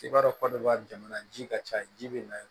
I b'a dɔn ko de b'a jamana ji ka ca ji bɛ na yen